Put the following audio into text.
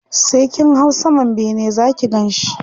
sai kin hau saman bene Zaki Ganshi